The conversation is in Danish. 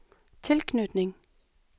tilknytning